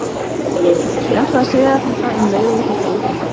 Ég ætlaði að segja þér þetta um leið og ég fékk að vita það.